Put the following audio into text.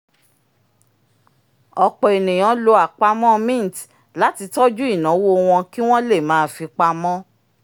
ọ̀pọ̀ ènìyàn lo àpamọ́ mint láti tọ́jú ináwó wọn kí wọ́n le máa fi pamọ́